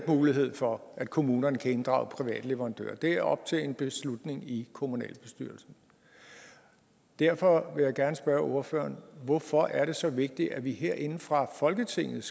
mulighed for at kommunerne kan inddrage private leverandører det er op til en beslutning i kommunalbestyrelsen derfor vil jeg gerne spørge ordføreren hvorfor er det så vigtigt at vi herinde fra folketingets